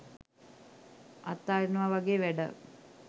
අතාරිනවා වගේ වැඩක්.